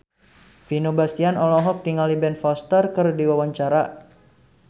Vino Bastian olohok ningali Ben Foster keur diwawancara